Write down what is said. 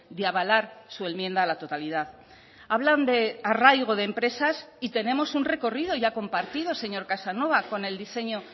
de avalar su enmienda a la totalidad hablan de arraigo de empresas y tenemos un recorrido ya compartido señor casanova con el diseño